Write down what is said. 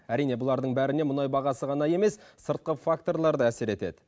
әрине бұлардың бәріне мұнай бағасы ғана емес сыртқы факторлар да әсер етеді